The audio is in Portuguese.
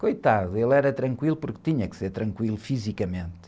Coitado, ele era tranquilo porque tinha que ser tranquilo fisicamente.